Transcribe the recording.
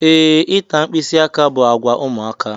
Ee, ịta mkpisi aka bụ àgwà ụmụaka.